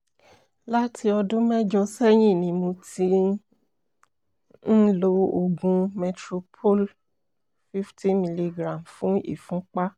láti ọdún mẹ́jọ sẹ́yìn ni mo ti ń lo oògùn metoprolol fifty milligram fún ìfúnpá